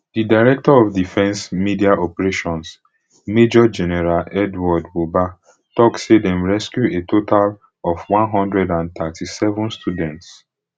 di director of defence media operations major general edward buba tok say dem rescue a total of one hundred and thirty-seven students